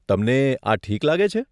તમને આ ઠીક લાગે છે?